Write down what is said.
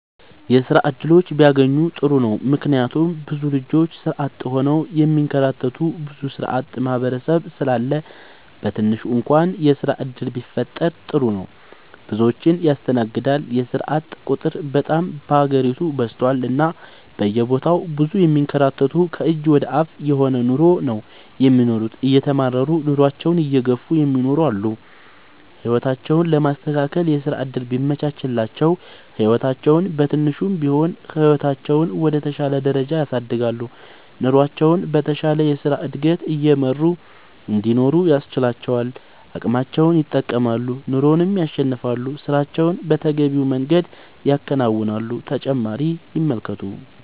የስራ እድሎች ቢያገኙ ጥሩ ነው ምክንያቱም ብዙ ልጆች ስራ አጥ ሆነው የሚንከራተቱ ብዙ ስራአጥ ማህበረሰብ ስላለ በትንሹ እንኳን የስራ ዕድል ቢፈጠር ጥሩ ነው። ብዙዎችን ያስተናግዳል የስራአጥ ቁጥር በጣም በሀገሪቱ በዝቷል እና በየቦታው ብዙ የሚንከራተቱ ከእጅ ወደ አፍ የሆነ ኑሮ ነው የሚኖሩት እየተማረሩ ኑሮአቸውን እየገፍ እሚኖሩ አሉ። ህይወታቸውን ለማስተካከል የስራ ዕድል ቢመቻችላቸው ህይወታቸውን በትንሹም ቢሆን ህይወታቸውን ወደ ተሻለ ደረጃ ያሳድጋሉ። ኑሮቸውን በተሻለ የስራ ዕድገት እየመሩ እንዲኖሩ ያስችላቸዋል አቅማቸውን ይጠቀማሉ ኑሮንም ያሸንፋሉ። ስራቸውን በተገቢው መንገድ ያከናውናሉ።…ተጨማሪ ይመልከቱ